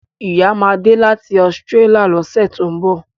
Ìyá ma de láti Australia lọ́sẹ̀ tó ń bọ̀